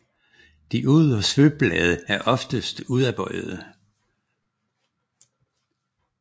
De ydre svøbblade er oftest udadbøjede